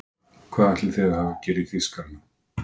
Hvað ætli þið hafið að gera í Þýskarana!